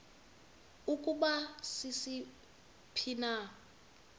ukuba sisiphi na